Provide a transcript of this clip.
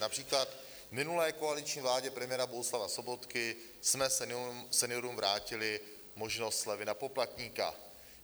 Například v minulé koaliční vládě premiéra Bohuslava Sobotky jsme seniorům vrátili možnost slevy na poplatníka.